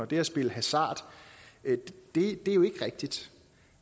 det er at spille hasard det er ikke rigtigt